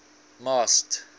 masked